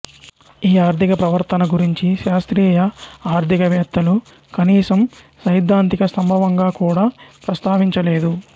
ఈ ఆర్థిక ప్రవర్తన గురించి శాస్త్రీయ ఆర్థికవేత్తలు కనీసం సైద్ధాంతిక సంభవంగా కూడా ప్రస్తావించలేదు